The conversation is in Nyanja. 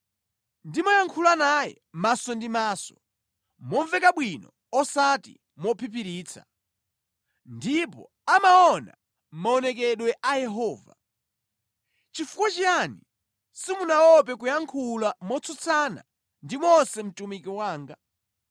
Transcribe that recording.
Ndimayankhula naye maso ndi maso, momveka bwino osati mophiphiritsa; ndipo amaona maonekedwe a Yehova. Nʼchifukwa chiyani simunaope kuyankhula motsutsana ndi Mose mtumiki wanga?”